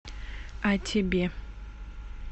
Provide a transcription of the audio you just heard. а тебе